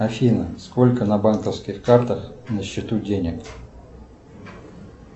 афина сколько на банковских картах на счету денег